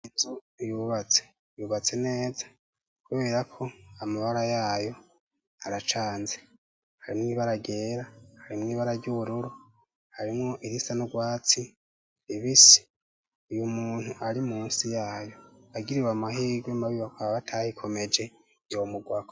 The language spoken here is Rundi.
Inzu yubatse. Yubatse neza kubera ko amabara yayo aracanze. Harimwo ibara ryera, harimwo ibara ry'ubururu, harimwo irisa n'ugwatsi ribisi. Uyu muntu ari musi yayo agiriwe amahigwe mabi bakaba batayikomeje yomugwako.